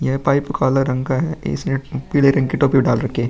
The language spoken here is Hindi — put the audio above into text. यह पाइप काला रंग का है। पीले रंग की टोपी डाल रखी है।